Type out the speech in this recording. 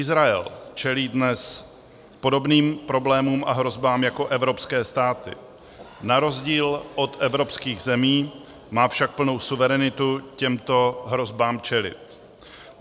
Izrael čelí dnes podobným problémům a hrozbám jako evropské státy, na rozdíl od evropských zemí má však plnou suverenitu těmto hrozbám čelit.